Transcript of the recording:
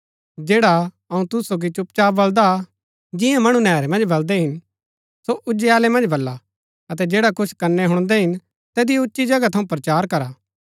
जैडा अऊँ तुसु सोगी चुपचाप बलदा जियां मणु नैहरै मन्ज बलदै हिन्‍न सो उजालै मन्ज बला अतै जैडा कुछ कनै हुणदै हिन तैतिओ उच्ची जगह थऊँ प्रचार करा